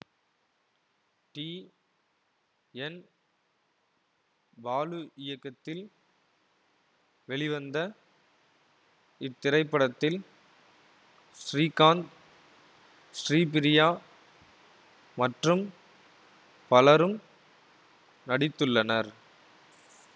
D N Balu இயக்கத்தில் வெளிவந்த இத்திரைப்படத்தில் ஸ்ரீகாந்த் ஸ்ரீபிரியா மற்றும் பலரும் நடித்துள்ளனர்